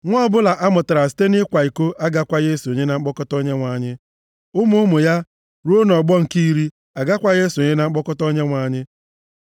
Nwa ọbụla a mụtara site nʼịkwa iko agakwaghị esonye na mkpọkọta Onyenwe anyị, ụmụ ụmụ ya, ruo nʼọgbọ nke iri, agakwaghị esonye na mkpọkọta Onyenwe anyị.